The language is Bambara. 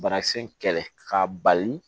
Banakisɛ in kɛlɛ ka bali